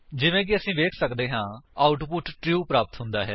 ਜਿਵੇਂ ਕਿ ਅਸੀ ਵੇਖ ਸੱਕਦੇ ਹਾਂ ਆਉਟਪੁਟ ਟਰੂ ਪ੍ਰਾਪਤ ਹੁੰਦਾ ਹੈ